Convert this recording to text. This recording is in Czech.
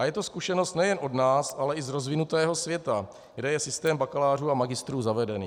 A je to zkušenost nejen od nás, ale i z rozvinutého světa, kde je systém bakalářů a magistrů zavedený.